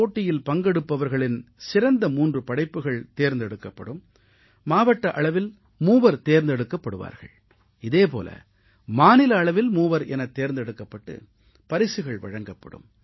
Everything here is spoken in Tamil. போட்டியில் பங்கெடுப்பவர்களின் சிறந்த 3 படைப்புகள் தேர்ந்தெடுக்கப்படும் மாவட்ட அளவில் மூவர் தேர்ந்தெடுக்கப்படுவார்கள் இதே போல மாநில அளவில் மூவர் எனத் தேர்ந்தெடுக்கப்பட்டு பரிசுகள் வழங்கப்படும்